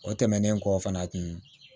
O tɛmɛnen kɔ fana tun